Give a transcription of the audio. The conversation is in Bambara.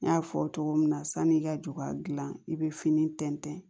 N y'a fɔ cogo min na sanni i ka ju ka gilan i be fini tɛntɛn